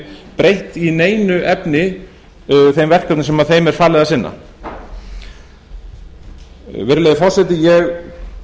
breytt í neinu efni þeim verkefnum sem þeim er falið að sinna virðulegi forseti ég